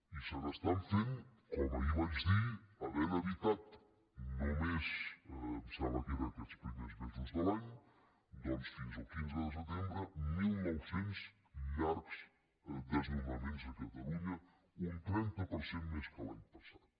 i se n’estan fent com ahir vaig dir havent evitat només em sembla que era en aquests primers mesos de l’any doncs fins al quinze de setembre mil nou cents llargs desnonaments a catalunya un trenta per cent més que l’any passat